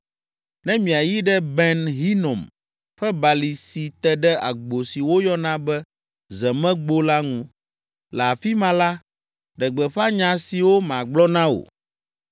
ne miayi ɖe Ben Hinom ƒe Balime si te ɖe agbo si woyɔna be Zemegbo la ŋu. Le afi ma la, ɖe gbeƒã nya siwo magblɔ na wò.